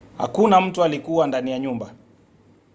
hakuna mtu alikuwa ndani ya nyumba